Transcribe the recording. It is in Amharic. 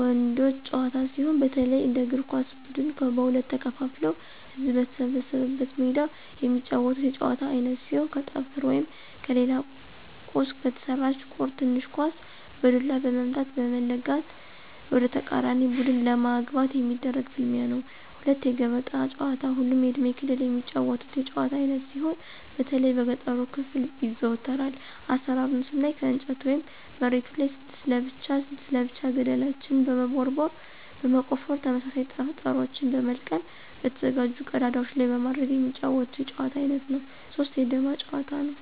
ወንዶች ጨዋታ ሲሆን፣ በተለይ እንደ እግር ኳስ ብድን ከሁለት ተከፋፍለው ህዝብ በተሰበሰበበት ሜዳ የሚጫወቱት የጨዋታ አይነት ሲሆን ከጠፍር ወይም ከሌላ ቁስ በተሰራች ቁር (ትንሽ ኳስ) በዱላ በመምታት(በመለጋት) ወደተቃራኒ ቡድን ለማግባት የሚደረግ ፍልሚያ ነው። 2=የገበጣ ጨዋታ ሁሉም የእድሜ ክልል የሚጫወቱት የጭዋታ አይነት ሲሆን በተለይ በገጠሩ ክፍል ይዘወተራል። አሰራሩን ስናይ ከእንጨት ወይም መሬቱ ላይ 6 ለብቻ 6 ለብቻ ገደልችን በመቦርቦር (በመቆፈር) ተመሳሳይ ጠጠሮችን በመልቀም በተዘጋጁ ቀዳዳዎች ላይ በማድረግ የሚጫወቱት የጨዋታ አይነት ነው። 3=የዳማ ጭዋታ; ነው።